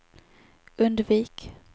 undvik